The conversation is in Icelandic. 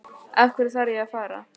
Af hverju þarf ég að fara?